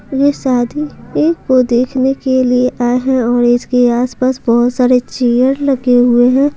यह शादी के को देखने के लिए आए हैं और इसके आसपास बहुत सारे चेयर लगे हुए हैं।